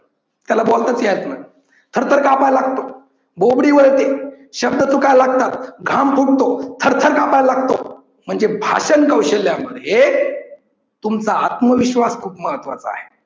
त्याला बोलताच यायचं नाही. थर थर कापायला लागतो, बोबडी वळते, शब्द चुकायला लागतात, घाम फुटतो, थर थर कापायला लागतो म्हणजे भाषण कौशल्या मध्ये तुमचा आत्मविश्वास खूप महत्वाचा आहे.